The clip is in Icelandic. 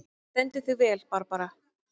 Þú stendur þig vel, Barbara!